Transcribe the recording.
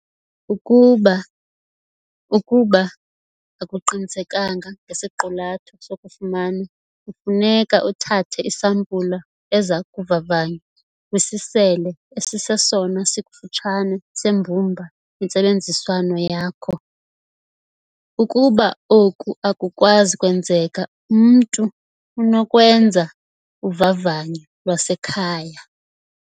Ukuba ukuba akuqinisekanga ngesiqulatho sokufuma kufuneka uthathe isampulu eza kuvavanywa kwisisele esisesona sikufutshane sembumba yentsebenziswano yakho. Ukuba oku akukwazi kwenzeka, umntu unokwenza 'uvavanyo lwasekhaya'.